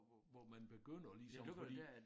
Hvor man begynder ligesom fordi